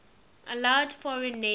allowed foreign nations